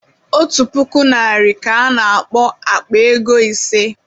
Otu puku naira ka ana akpo Akpa ego ise